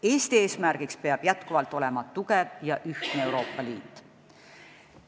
Eesti eesmärk peab jätkuvalt olema tugev ja ühtne Euroopa Liit.